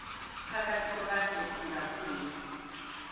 phakathi kwabantu ungabuye